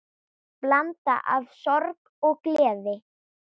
Blanda af sorg og gleði.